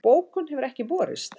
Bókun hefur ekki borist